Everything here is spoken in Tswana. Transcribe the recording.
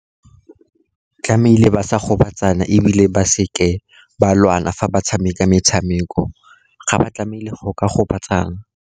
Tlamehile ba sa gobatsa bana, ebile ba seke ba lwana fa ba tshameka metshameko. Ga ba tlamehile go ka gobatsana.